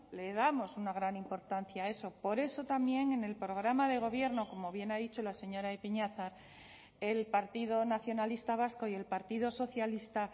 le damos una gran importancia a eso por eso también en el programa de gobierno como bien ha dicho la señora ipiñazar el partido nacionalista vasco y el partido socialista